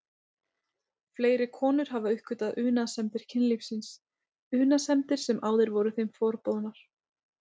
Fleiri konur hafa uppgötvað unaðssemdir kynlífsins, unaðssemdir sem áður voru þeim forboðnar.